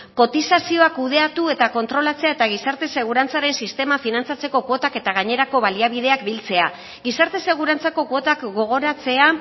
kotizazioa kudeatu eta kontrolatzea eta gizarte segurantzaren sistema finantzatzeko kuotak eta gainerako baliabideak biltzea gizarte segurantzako kuotak gogoratzea